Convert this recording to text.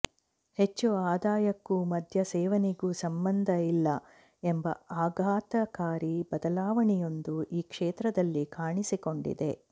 ಹೆಚ್ಚು ಆದಾಯಕ್ಕೂ ಮದ್ಯ ಸೇವನೆಗೂ ಸಂಬಂಧ ಇಲ್ಲ ಎಂಬ ಅಘಾತಕಾರಿ ಬದಲಾವಣೆಯೊಂದು ಈ ಕ್ಷೇತ್ರದಲ್ಲಿ ಕಾಣಿಸಿಕೊಂಡಿದೆ